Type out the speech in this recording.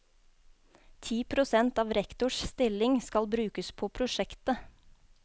Ti prosent av rektors stilling skal brukes på prosjektet.